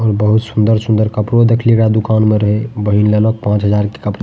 और बहुत सुंदर सुंदर कपड़ो देखललिए रहे दुकान में रहे बहिन ले अलग पांच हजार के कपड़ा --